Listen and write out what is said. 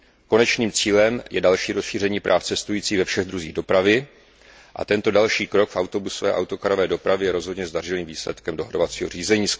Konečným cílem je další rozšíření práv cestujících ve všech druzích dopravy a tento další krok v autobusové a autokarové dopravě je rozhodně zdařilým výsledkem dohodovacího řízení.